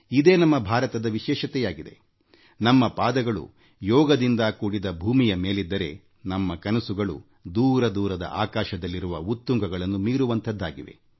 ಇದೇ ನಮ್ಮ ಭಾರತದ ವಿಶೇಷತೆ ನಮ್ಮ ಪಾದಗಳು ಯೋಗದಿಂದ ಕೂಡಿದ ಭೂಮಿಯ ಮೇಲಿದ್ದರೆ ನಮ್ಮ ಕನಸುಗಳು ದೂರದ ದಿಗಂತಗಳಾಚೆ ಇವೆ